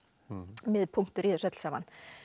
miðpunktur í þessu öllu saman